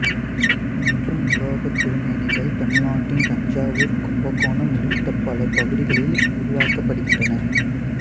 இன்றும் உலோகத் திருமேனிகள் தமிழ்நாட்டின் தஞ்சாவூர் கும்பகோணம் உள்ளிட்ட பல பகுதிகளில் உருவாக்கப்படுகின்றன